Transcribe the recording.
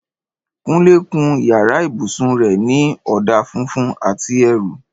Kúnlé kun yàrá ibùsùn rẹ̀ ní ọ̀dà funfun àti eérú